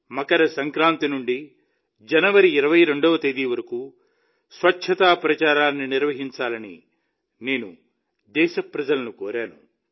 మకర సంక్రాంతి నుండి జనవరి 22వ తేదీ వరకు స్వచ్ఛతా ప్రచారాన్ని నిర్వహించాలని నేను దేశ ప్రజలను కోరాను